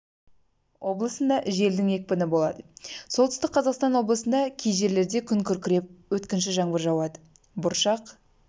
облысында желдің екпіні болады солтүстік қазақстан облысында кей жерлерде күн күркіреп өткінші жаңбыр жауады бұршақ